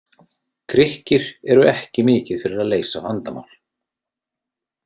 Grikkir eru ekki mikið fyrir að leysa vandamál.